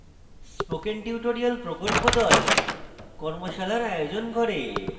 spoken tutorial প্রকল্প the কর্মশালার আয়োজন করে